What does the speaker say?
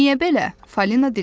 Niyə belə, Falina dilləndi.